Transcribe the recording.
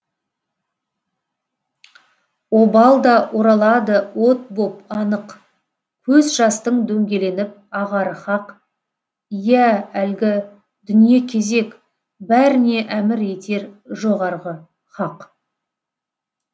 обал да оралады от боп анық көз жастың дөңгеленіп ағары хақ иә әлгі дүние кезек бәріне әмір етер жоғарғы хақ